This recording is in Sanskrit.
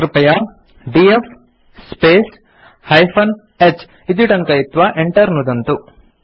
कृपया डीएफ स्पेस् -h इति टङ्कयित्वा enter नुदन्तु